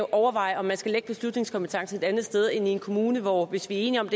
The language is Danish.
overvejer om man skal lægge beslutningskompetencen et andet sted end i en kommune hvor hvis vi er enige om